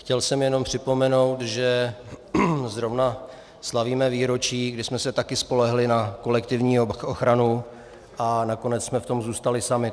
Chtěl jsem jenom připomenout, že zrovna slavíme výročí, kdy jsme se taky spolehli na kolektivní ochranu a nakonec jsme v tom zůstali sami.